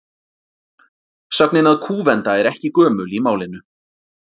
Sögnin að kúvenda er ekki gömul í málinu.